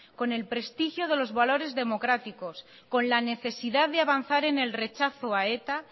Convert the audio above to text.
con el prestigio de los valores democráticos con la necesidad de avanzar en el rechazo a eta